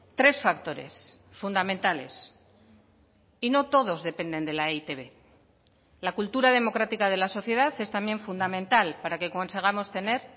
tres factores fundamentales y no todos dependen de la e i te be la cultura democrática de la sociedad es también fundamental para que consigamos tener